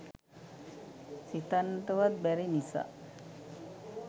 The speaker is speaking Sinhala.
සිතන්නට වත් බැරි නිසා